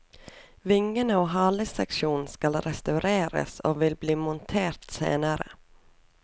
Vingene og haleseksjonen skal restaureres og vil bli montert senere.